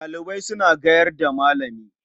Ɗalibai suna gayar da Malami.